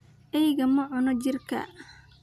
Ceyga macuno jirka.